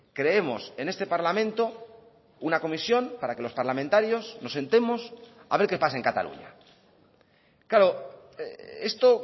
creemos en este parlamento una comisión para que los parlamentarios nos sentemos a ver qué pasa en cataluña claro esto